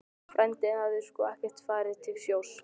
Frændinn hafði sko ekkert farið til sjós.